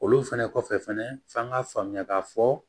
Olu fɛnɛ kɔfɛ fɛnɛ f'an k'a faamuya k'a fɔ